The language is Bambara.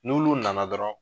N'olu nana dɔrɔn